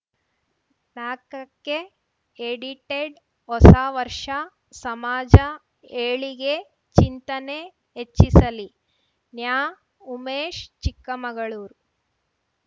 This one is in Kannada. ನಾಕಕ್ಕೆ ಎಡಿಟೆಡ್‌ ಹೊಸ ವರ್ಷ ಸಮಾಜ ಏಳಿಗೆ ಚಿಂತನೆ ಎಚ್ಚಿಸಲಿ ನ್ಯಾಉಮೇಶ್‌ ಚಿಕ್ಕಮಗಳೂರು